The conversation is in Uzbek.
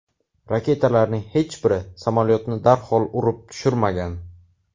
Raketalarning hech biri samolyotni darhol urib tushirmagan.